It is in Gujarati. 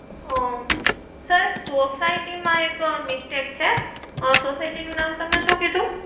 ઓ sir એક society માં એક mistake છે society નું નામ તમે શું કીધું?